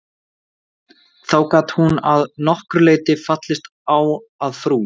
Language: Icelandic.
Þó gat hún að nokkru leyti fallist á að frú